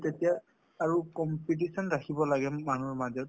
আৰু তেতিয়া আৰু competition ৰাখিব লাগে মানুহৰ মাজত ।